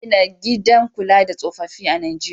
Za a gina gidan kula da tsofaffi a Nijeriya.